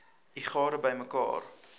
u gade bymekaar